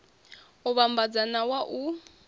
u vhambadza na wa u